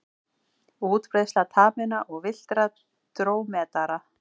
Útbreiðsla taminna og villtra drómedara.